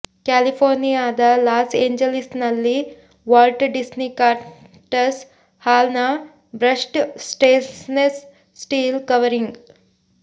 ಕ್ಯಾಲಿಫೋರ್ನಿಯಾದ ಲಾಸ್ ಏಂಜಲೀಸ್ನಲ್ಲಿನ Walt Disney concert ಹಾಲ್ನ ಬ್ರಷ್ಡ್ ಸ್ಟೇನ್ಲೆಸ್ ಸ್ಟೀಲ್ ಕವರಿಂಗ್